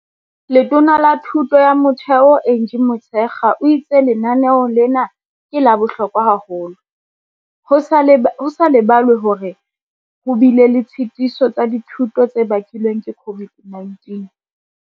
Letona la Thuto ya Motheo Angie Motshekga o itse lenaneo lena ke la bohlokwa haholo, ho sa lebalwe hore ho bile le ditshetiso tsa dithuto tse bakilweng ke COVID-19.